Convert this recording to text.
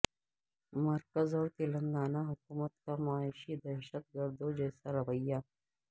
مرکز اور تلنگانہ حکومت کا معاشی دہشت گردوں جیسا رویہ